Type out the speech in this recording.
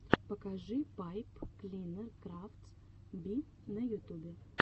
покажи пайп клинер крафтс би на ютубе